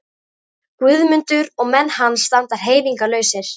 Guðmundur og menn hans standa hreyfingarlausir.